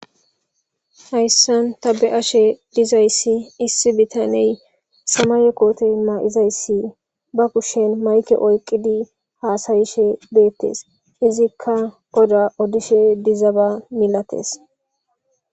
hayssan tabe ashe dizayssi issi bitaney samayekote ma7izayssi ba kushen mayke oyqidi haasayishe beettes izikka goda odishe dizaba milates